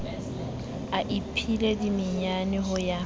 a iphile dimenyane ho ya